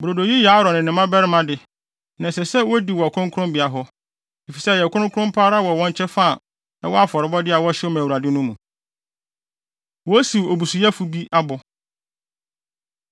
Brodo yi yɛ Aaron ne ne mmabarima de, na ɛsɛ sɛ wodi wɔ kronkronbea hɔ, efisɛ ɛyɛ kronkron pa ara wɔ wɔn kyɛfa a ɛwɔ afɔrebɔde a wɔhyew ma Awurade no mu.” Wosiw Obusuyɛfo Bi Abo